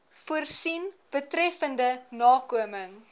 voorsien betreffende nakoming